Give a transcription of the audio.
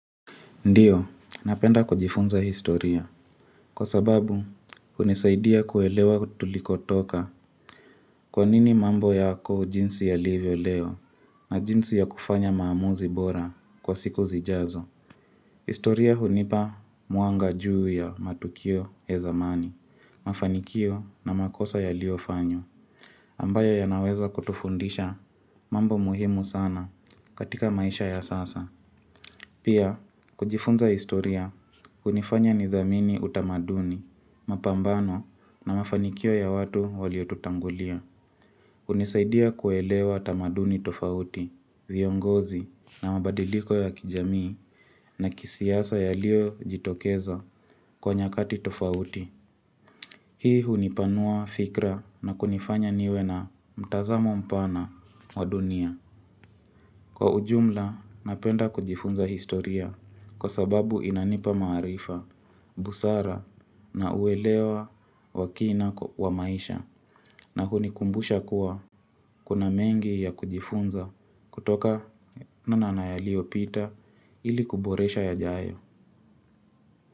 Ndiyo, napenda kujifunza historia, kwa sababu unisaidia kuelewa tuliko toka kwa nini mambo yako jinsi ya livyo leo na jinsi ya kufanya maamuzi bora kwa siku zijazo. Historia hunipa muanga juu ya matukio ya zamani, mafanikio na makosa ya liofanywa, ambayo yanaweza kutufundisha mambo muhimu sana katika maisha ya sasa. Pia, kujifunza historia, unifanya nidhamini utamaduni, mapambano na mafanikio ya watu waliotutangulia. Unisaidia kuelewa tamaduni tofauti, viongozi na mabadiliko ya kijamii na kisiasa ya lio jitokeza kwa nyakati tofauti. Hii unipanua fikra na kunifanya niwe na mtazamo mpana wa dunia. Kwa ujumla napenda kujifunza historia kwa sababu inanipa maharifa, busara na uelewa wakina wa maisha na hunikumbusha kuwa kuna mengi ya kujifunza kutoka mana na yaliopita ili kuboresha ya jayo.